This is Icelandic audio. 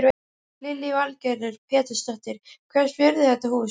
Lillý Valgerður Pétursdóttir: Hvers virði er þetta hús?